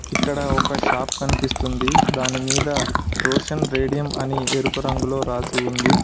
ఇక్కడ ఒక షాప్ కనిపిస్తుంది దాని మీద రోషన్ రేడియం అని ఎరుపు రంగులో రాసి ఉంది.